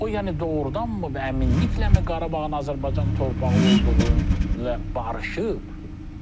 O yəni doğrudanmı əminlikləmi Qarabağın Azərbaycan torpağı olduğu ilə barışıb?